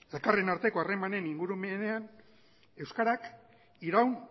elkarren arteko harreman ingurumenean euskarak iraun